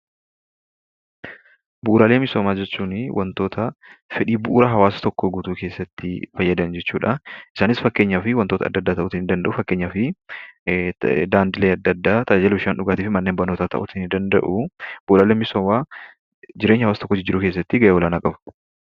Bu'uraaalee hawaasaa jechuuni wantoota bu'ura hawaasa tokkoo guutuu keessatti fayyadan jechuudha. Isaanis wantoota adda addaa ta'uu nidanda'u. Fakkeenyaaf daandilee adda addaa, bishaan dhugaatiifi manneen barnootaa ta'uu nidanda'u. Bu'uraaleen hawaasaa jireenya hawaasa tokkoo jijjiiruu keessatti ga'ee olaanaa qabu.